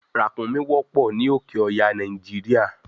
ràkúnmí wọ́pọ̀ ní òké ọya nàìjíríà